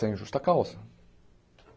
Sem justa causa.